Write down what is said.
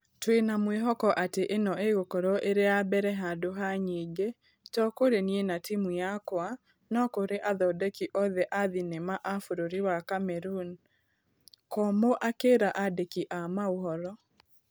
Twĩna mwĩhoko atĩ ĩno ĩgũkorwo ĩrĩ ya mbere handũ ha nyingĩ, to kũrĩ niĩ na timũ yakwa, no kũrĩ athondeki othe a thenema a bũrũri wa Kameruni, Komũ akĩra andĩki a maũhoro.